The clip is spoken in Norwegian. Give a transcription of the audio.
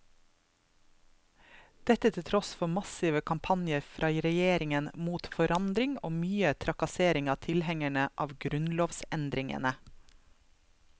Dette til tross for massive kampanjer fra regjeringen mot forandring og mye trakassering av tilhengerne av grunnlovsendringene.